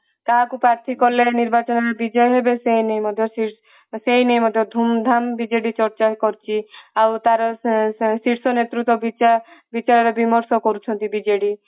କାହାକୁ ପାର୍ଥୀ କଲେ ନିର୍ବାଚନ ବିଜୟ ହେବେ ସେ ନେଇ ମଧ୍ୟ ସେ ନେଇ ଧୂମ ଧାମ ବିଜେଡି ଚର୍ଚ୍ଚା କରୁଛି ଆଉ ତାର ଶୀର୍ଷ ନେତୃତ୍ଵ ବିଚାର ବିମର୍ଶ କରୁଛନ୍ତି ବିଜେଡି